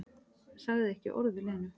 Sagði ekki orð við Lenu.